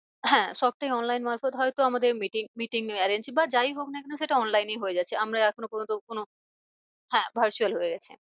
হ্যাঁ সবটাই online মারপথ হয় তো আমাদের meeting, meeting arrange বা যাই হোক না কেন সেটা online এই হয়ে যাচ্ছে। আমরা এখনো পর্যন্ত কোনো হ্যাঁ virtual হয়ে গেছে।